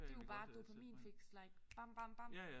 Det jo bare et dopaminfix like bam bam bam